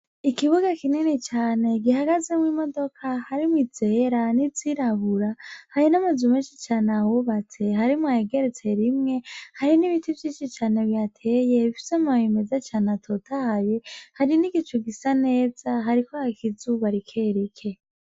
Ikibuga kinini cane gihagazemwo imodoka harimwo izera n'izirabura, hari n'amazu menshi cane ahubatse harimwo ayageretse rimwe, hari n'ibiti vyinshi cane bihateye bifise amababi meza cane atotahaye, hari n'igicu gisa neza hariko haka izuba rikerike.